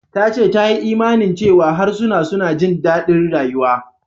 Ta ce ta yi imanin cewa harsuna suna jin daɗin rayuwa.